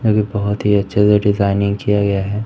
अभी बहुत ही अच्छा सा डिजाइनिंग किया गया है।